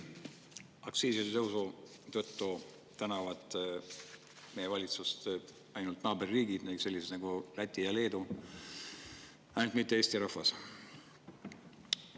Aktsiiside tõusu eest tänavad meie valitsust ilmselt ainult naaberriigid, sellised nagu Läti ja Leedu, mitte Eesti rahvas.